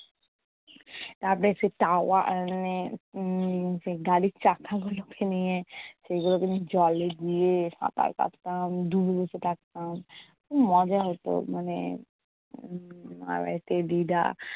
তারপর সেই টাওয়া উম মানে উম সেই গাড়ির চাকাগুলোকে নিয়ে সেই গুলোকে নিয়ে জলে গিয়ে সাঁতার কাটতাম, ডুবে বসে থাকতাম। খুব মজা হতো মানে উম মামাবাড়িতে দিদা